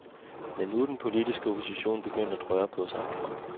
Men nu er den politiske opposition begyndt at røre på sig.